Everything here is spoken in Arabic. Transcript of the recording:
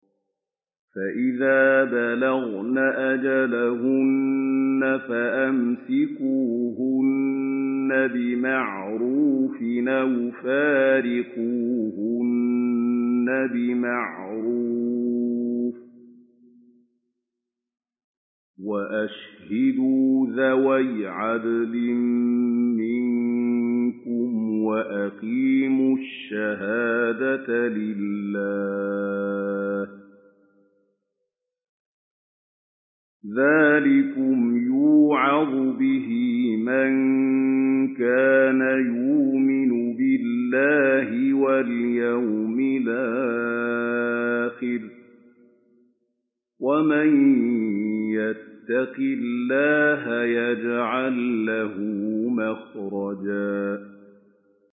فَإِذَا بَلَغْنَ أَجَلَهُنَّ فَأَمْسِكُوهُنَّ بِمَعْرُوفٍ أَوْ فَارِقُوهُنَّ بِمَعْرُوفٍ وَأَشْهِدُوا ذَوَيْ عَدْلٍ مِّنكُمْ وَأَقِيمُوا الشَّهَادَةَ لِلَّهِ ۚ ذَٰلِكُمْ يُوعَظُ بِهِ مَن كَانَ يُؤْمِنُ بِاللَّهِ وَالْيَوْمِ الْآخِرِ ۚ وَمَن يَتَّقِ اللَّهَ يَجْعَل لَّهُ مَخْرَجًا